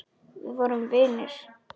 Við vorum vinir.